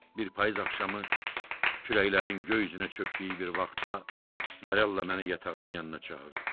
Bir payız axşamı kürəklərin göy üzünə çökdüyü bir vaxtda Marella məni yatağının yanına çağırdı.